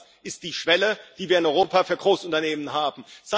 Umsatz ist die Schwelle, die wir in Europa für Großunternehmen haben.